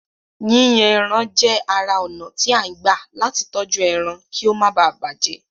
Yíyan ẹran jẹ́ ara ònà tí à ń gbà latí tọ́jú ẹran kí ó máa bàjẹ́